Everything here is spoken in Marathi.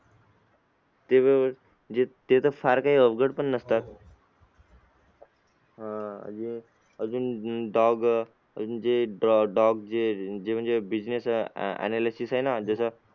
ते तर फार काही अवघड पण नसतात अह अजून अजून dog जे dog जे म्हणजे जे business analysis आहे ना जसं